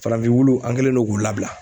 Farafin wulu an kɛlen no k'u labila.